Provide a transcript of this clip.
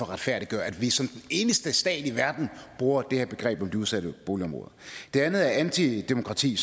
retfærdiggøre at vi som den eneste stat i verden bruger det her begreb om de udsatte boligområder det andet er antidemokrati